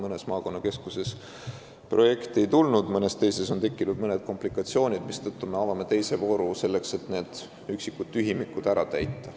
Mõnest maakonnakeskusest projekti ei tulnud ja mõnes teises on tekkinud komplikatsioone, mistõttu me avame teise vooru, et need üksikud tühimikud ära täita.